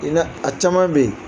I na a caman bɛ yen